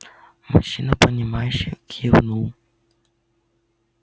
мужчина понимающе кивнул